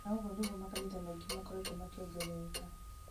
na ũguo nĩguo makanitha maingĩ makoretwo makĩongerereka